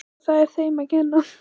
Og það er þeim að kenna.